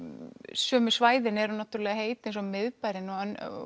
sömu svæðin eru heit eins og miðbærinn og